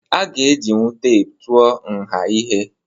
Aga ejinwu teepu tụọ nha ihe.